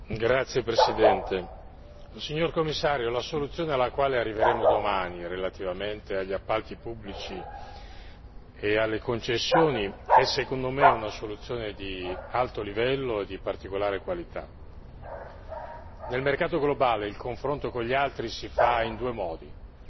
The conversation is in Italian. Signor Presidente, onorevoli colleghi, signor Commissario, la soluzione alla quale arriveremo domani relativamente agli appalti pubblici e alle concessioni è, secondo me, una soluzione ad alto livello e di particolare qualità. Nel mercato globale, il confronto con gli altri si fa in due modi